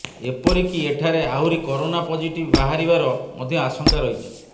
ଏପରି କି ଏଠାରେ ଆହୁରି କରୋନା ପଜିଟିଭ ବାହାରିବାର ମଧ୍ୟ ଆଶଙ୍କା ରହିଛି